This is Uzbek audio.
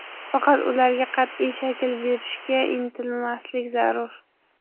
Faqat ularga qat’iy shakl berishga intilmaslik zarur.